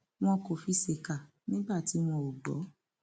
wọn kò fi ṣèkà nígbà tí wọn ò gbọ